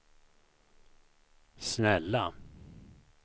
snälla